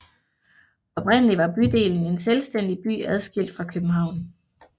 Oprindeligt var bydelen en selvstændig by adskilt fra København